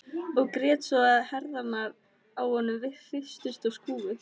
Og grét svo að herðarnar á honum hristust og skulfu.